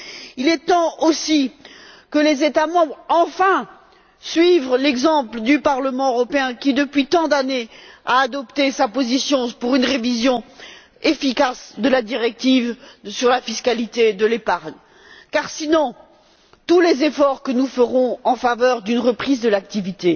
Il est temps également que les États membres suivent enfin l'exemple du Parlement européen qui, depuis tant d'années, a adopté sa position pour une révision efficace de la directive sur la fiscalité de l'épargne car, sinon, tous les efforts que nous ferons en faveur d'une reprise de l'activité,